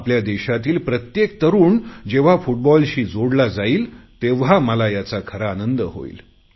आपल्या देशातील प्रत्येक तरुण जेव्हा फुटबॉलशी जोडला जाईल तेव्हा मला याचा खरा आनंद होईल